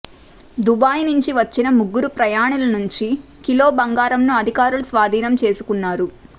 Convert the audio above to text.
Dubai నుంచి వచ్చిన ముగ్గురు ప్రయాణిల నుంచి కిలో బంగారం ను అధికారులు స్వాధీనం చేసుకున్నారు